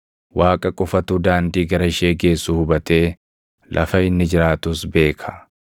Waaqa qofatu daandii gara ishee geessu hubatee, lafa inni jiraatus beeka;